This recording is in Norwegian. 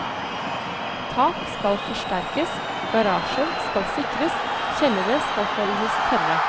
Tak skal forsterkes, garasjer skal sikres, kjellere skal holdes tørre.